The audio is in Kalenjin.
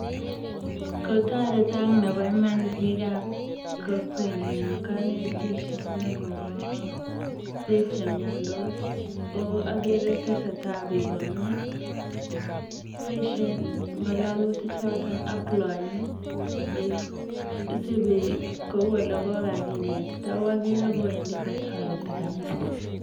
Kotoretok nebo imaan biikab kokwenyun en konetishet nekobo biik chemiondos oo okere tesetaa biik komie, boishen ng'ololutichoton aploeni isbii kouu elekokakinetita oo okere kowendi kotoreti kabisaa.